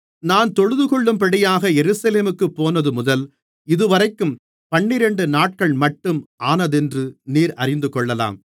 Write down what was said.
நான் தொழுதுகொள்ளும்படியாக எருசலேமுக்குப் போனதுமுதல் இதுவரைக்கும் பன்னிரண்டு நாட்கள்மட்டும் ஆனதென்று நீர் அறிந்துகொள்ளலாம்